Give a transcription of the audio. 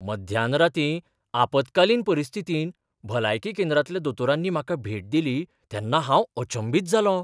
मध्यान रातीं आपतकालीन परिस्थितींत भलायकी केंद्रांतल्या दोतोरांनी म्हाका भेट दिली तेन्ना हांव अचंबित जालों .